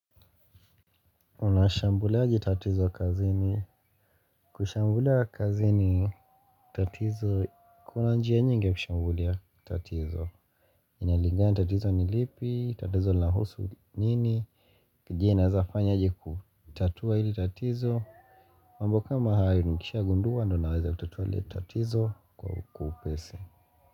Unashambulaje tatizo kazi ni kushambulia kazini tatizo kuna njia nyingi ya kushambulia tatizo. Kulingana na tatizo ni lipi, tatizo linahusu nini, je naeza fanya aje kutatua hili tatizo. Mambo kama hayo nikishagunduwa ndyo naweza kutatua lile tatizo kwa upesi.